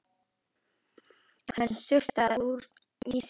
Hann sturtaði í sig úr flöskunni.